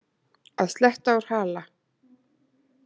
Að sletta úr hala